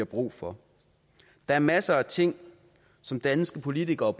brug for der er masser af ting som danske politikere